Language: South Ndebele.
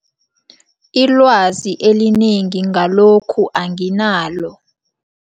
Ilwazi elinengi ngalokhu anginalo.